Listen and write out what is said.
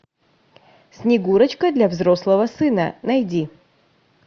снегурочка для взрослого сына найди